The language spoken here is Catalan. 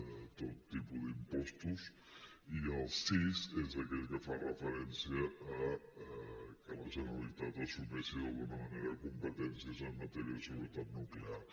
de tot tipus d’impostos i el sis és aquell que fa referència al fet que la generalitat assumeixi d’alguna manera competències en matèria de seguretat nuclear